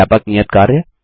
व्यापक नियत कार्य